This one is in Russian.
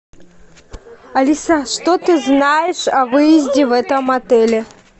алиса что ты знаешь о выезде в этом отеле